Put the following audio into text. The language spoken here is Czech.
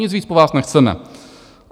Nic víc po vás nechceme.